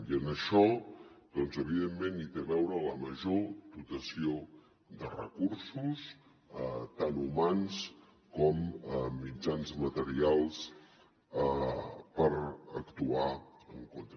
i en això doncs evidentment hi té a veure la major dotació de recursos tant humans com mitjans materials per actuar en contra